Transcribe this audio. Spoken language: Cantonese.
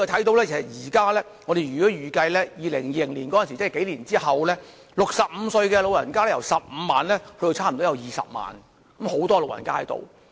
我們預計在數年後，即2020年，該區65歲長者人口將由15萬增加至大約20萬，是一個很大的數字。